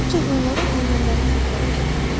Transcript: Ancaq onlara deyilənləri təkrar edirlər.